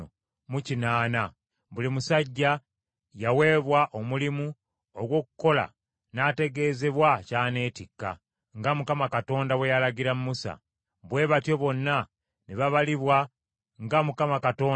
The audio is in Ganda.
Buli musajja yaweebwa omulimu ogw’okukola n’ategeezebwa ky’aneetikka, nga Mukama Katonda bwe yalagira Musa. Bwe batyo bonna ne babalibwa nga Mukama Katonda bwe yalagira Musa.